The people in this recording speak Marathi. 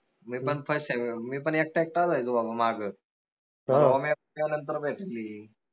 मी पन first time मी पन एकटा एकटाच राहिलो बाबा मग नंतर भेटली